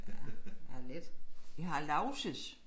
Ja ja lidt vi har Lauses